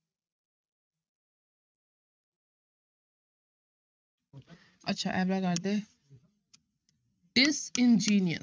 ਅੱਛਾ ਇਹ ਵਾਲਾ disingenuous